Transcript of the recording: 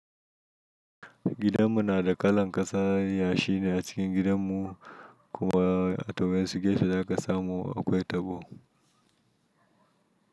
Gidanmu na da kalan ƙasa yashi ne a cikin gidanmu kuma a tuhameshi gashin da ƙasa mu a kwetabo.